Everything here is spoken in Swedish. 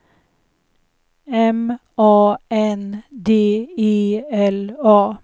M A N D E L A